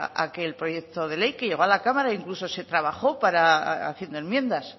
aquel proyecto de ley que llegó a la cámara incluso se trabajó haciendo enmiendas